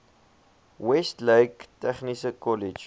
westlake tegniese kollege